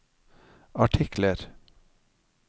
artikler